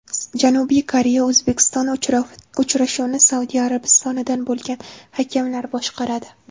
Janubiy Koreya O‘zbekiston uchrashuvini Saudiya Arabistonidan bo‘lgan hakamlar boshqaradi.